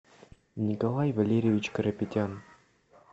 николай валерьевич карапетян